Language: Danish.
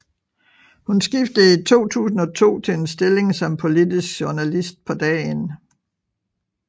Hun skiftede i 2002 til en stilling som politisk journalist på Dagen